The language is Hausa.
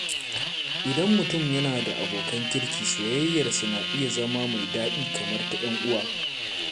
Idan mutum yana da abokan kirki, soyayyarsu na iya zama mai daɗi kamar ta ‘yan uwa.